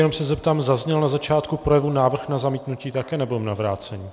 Jenom se zeptám: zazněl na začátku projevu návrh na zamítnutí také nebo na vrácení?